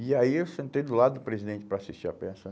E aí eu sentei do lado do presidente para assistir a peça.